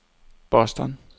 Boston